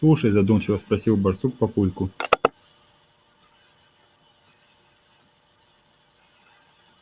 слушай задумчиво спросил барсук папульку